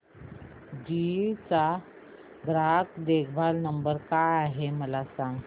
GE चा ग्राहक देखभाल नंबर काय आहे मला सांग